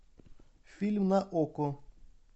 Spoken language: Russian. фильм на окко